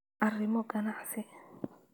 arrimo ganacsi.